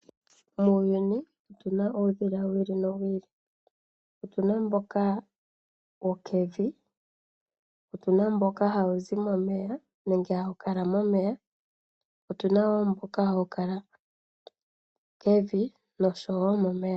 Muuyuni otuna uudhila wili no wili, otuna mboka wo kevi otuna mboka wo mboka hawu zi momeya nenge hau kala momeya , otuna woo mboka hawu kala kevi nosho momeya.